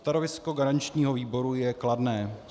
Stanovisko garančního výboru je kladné.